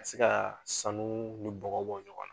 Ka se ka sanu ni bɔgɔ bɔ ɲɔgɔn na